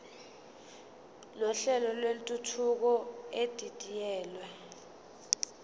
nohlelo lwentuthuko edidiyelwe